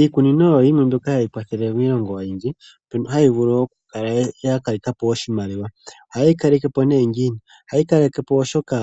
Iikunino oyo yimwe mbyono hayi kwathele miilongo oyindji. Mbyono hayi vulu okukala ya kaleka po oshimaliwa. Ohaye yi kaleke po ngiini? Ohaye yi kaleke po, oshoka